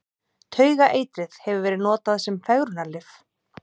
Taugaeitrið hefur verið notað sem fegrunarlyf.